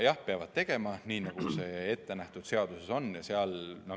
Jah, peavad tegema, nii nagu seaduses on ette nähtud.